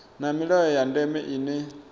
na milayo ya ndeme ine